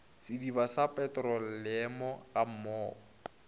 sediba sa petroleamo ga mmogo